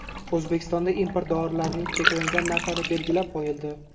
O‘zbekistonda import dorilarning cheklangan narxlari belgilab qo‘yildi.